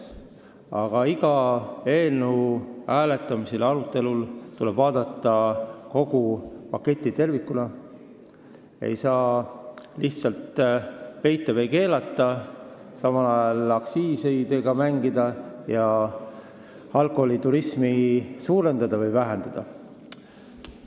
Aga iga eelnõu hääletamisel ja arutelul tuleb vaadata kogu paketti tervikuna, ei saa lihtsalt peita või keelata, samal ajal aktsiisidega mängida ja alkoholiturismi suurendada või vähendada.